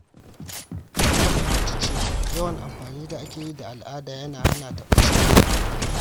Na fahimci cewa yawan amfanin da ake yi da al’ada yana hana ta bacewa.